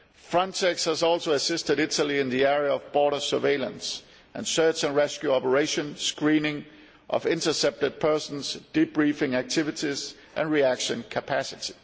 Frontex has also assisted Italy in the area of border surveillance and search and rescue operations, screening of intercepted persons, debriefing activities and reaction capacity.